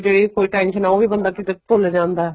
ਜੇ ਕੋਈ tension ਹੀ ਉਹ ਵੀ ਬੰਦਾ ਕਿਤੇ ਭੁੱਲ ਜਾਂਦਾ